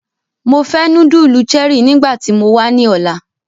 Mo fẹ nudulu Cherie nigbati mo wa ni ọla!